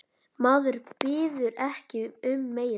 Maður biður ekki um meira.